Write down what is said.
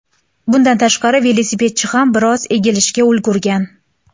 Bundan tashqari, velosipedchi ham biroz egilishga ulgurgan.